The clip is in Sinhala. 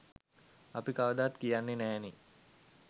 අපි කවදාවත් කියන්නෙ නෑනෙ